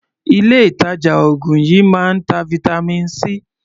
Ilé ìtàjà oògùn yìí máa ń ta vitamin C.